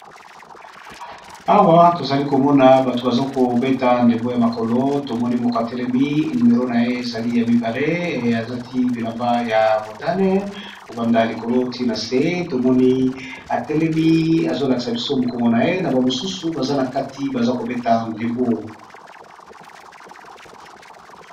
Awa, tozali komona bato baza kobeta ndembo ya makolo. Tomoni moko atelemi. Nimero na ye ezali ya mibale. Alati bilamba ya montane kobanda likolo this na se. Tomoni atelemi azolakisa biso mokongo na ye. Na bamosusu baza na kati, baza kobeta ndembo.